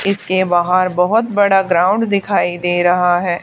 इसके बाहर बहोत बड़ा ग्राउंड दिखाई दे रहा हैं।